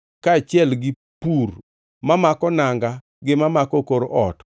kaachiel gi pur mamako nanga gi mamako kor ot,